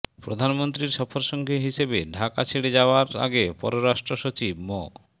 প্রধানমন্ত্রীর সফরসঙ্গী হিসেবে ঢাকা ছেড়ে যাওয়ার আগে পররাষ্ট্র সচিব মো